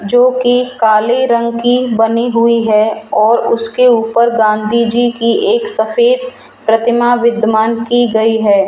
जोकि काले रंग की बनी हुई है और उसके ऊपर गांधी जीकि एक सफेद प्रतिमा विद्यमान की गई है।